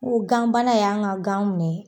N ko gan bana y'an ka gan minɛ